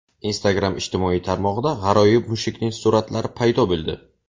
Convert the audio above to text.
Instagram ijtimoiy tarmog‘ida g‘aroyib mushukning suratlari paydo bo‘ldi.